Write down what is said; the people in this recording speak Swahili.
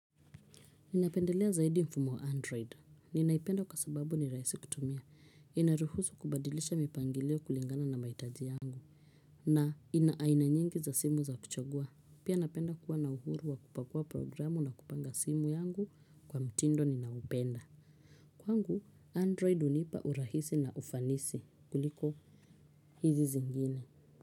Ninapendelea zaidi mfumo wa android. Ninaipenda kwa sababu ni rahisi kutumia. Inaruhusu kubadilisha mipangilio kulingana na mahitaji yangu. Na ina aina nyingi za simu za kuchagua. Pia napenda kuwa na uhuru wa kupakua programu na kupanga simu yangu kwa mtindo ninaupenda. Kwangu, android hunipa urahisi na ufanisi kuliko hizi zingine.